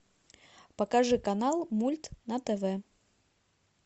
покажи канал мульт на тв